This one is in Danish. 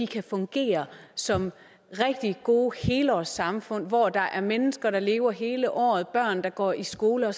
kan fungere som rigtig gode helårssamfund hvor der er mennesker der lever hele året børn der går i skole og